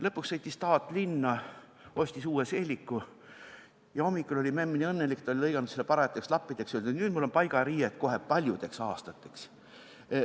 Lõpuks sõitis taat linna, ostis uue seeliku ja hommikul oli memm nii õnnelik – ta oli lõiganud selle parajateks lappideks ja ütles, et nüüd on paigariiet kohe paljudeks aastateks.